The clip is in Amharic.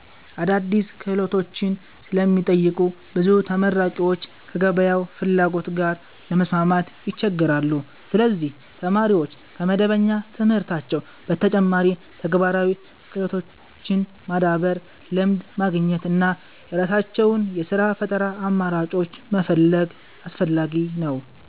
አዳዲስ ክህሎቶችን ስለሚጠይቁ ብዙ ተመራቂዎች ከገበያው ፍላጎት ጋር ለመስማማት ይቸገራሉ። ስለዚህ ተማሪዎች ከመደበኛ ትምህርታቸው በተጨማሪ ተግባራዊ ክህሎቶችን ማዳበር፣ ልምድ ማግኘት እና የራሳቸውን የሥራ ፈጠራ አማራጮች መፈለግ አስፈላጊ ነው።